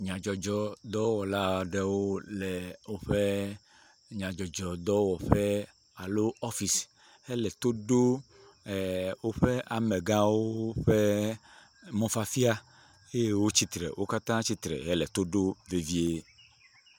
Nyadzɔdzɔdɔwɔla aɖewo le woƒe nyadzɔdzɔdɔwɔƒe alo ɔfisi, hele to ɖom woƒe amegawo ƒe mɔfafia eye wotsitre, wo katã tsitre hele to ɖom vevie.